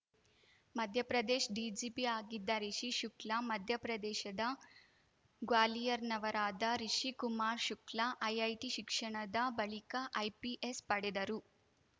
Madhya Pradesh DGP ಆಗಿದ್ದ ರಿಷಿ ಶುಕ್ಲಾ ಮಧ್ಯಪ್ರದೇಶದ ಗ್ವಾಲಿಯರ್‌ನವರಾದ Rishikumar Shukla IIT ಶಿಕ್ಷಣದ ಬಳಿಕ ಐಪಿಎಸ್‌ ಪಡೆದರು